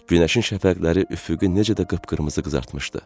Günəşin şəfəqləri üfüqü necə də qıpqırmızı qızartmışdı.